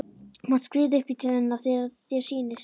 Þú mátt skríða upp í til hennar þegar þér sýnist.